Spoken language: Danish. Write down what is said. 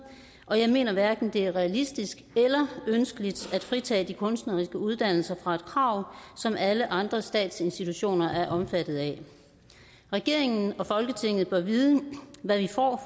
og jeg mener hverken det er realistisk eller ønskeligt at fritage de kunstneriske uddannelser fra et krav som alle andre statsinstitutioner er omfattet af regeringen og folketinget bør vide hvad vi får